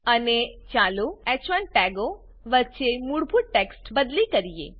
અને ચાલો હ1 ટેગો વચ્ચે મૂળભૂત ટેક્સ્ટ બદલી કરીએ